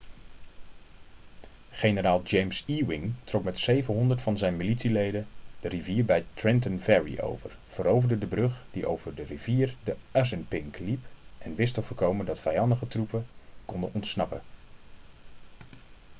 generaal james ewing trok met 700 van zijn militieleden de rivier bij trenton ferry over veroverde de brug die over de rivier de assunpink liep en wist te voorkomen dat vijandige troepen konden ontsnappen